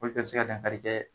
Olu bɛ bi se ka dankari kɛ